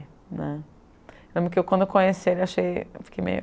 né. Lembro que quando eu conheci ele, achei, fiquei meio...